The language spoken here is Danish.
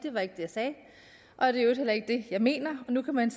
at i øvrigt heller ikke det jeg mener nu kan man